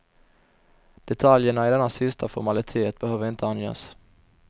Detaljerna i denna sista formalitet behöver inte anges.